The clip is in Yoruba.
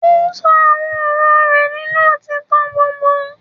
Ó ṣọ àwọn ọ̀rọ̀ rẹ̀ nínú òtítọ́ gbogbo.